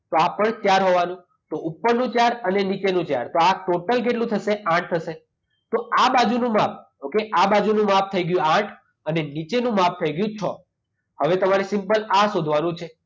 આ પણ ચાર હોવાનું. તો ઉપરનું ચાર અને નીચેનું ચાર. તો આ ટોટલ કેટલું થશે? આઠ થશે. તો આ બાજુનું માપ ઓકે? આ બાજુનું માપ થઈ ગયું આઠ અને નીચેનું માપ થઈ ગયું છ. હવે તમારે સિમ્પલ આ શોધવાનું છે.